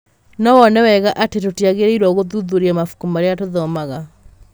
No wone wega atĩ tũtiagĩrĩirũo gũthuthuria mabuku marĩa tũthomaga.